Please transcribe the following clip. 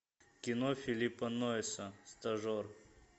кино филлипа нойса стажер